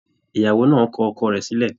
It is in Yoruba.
Ìyàwó náà kọ ọkọ rẹ̀ sílẹ̀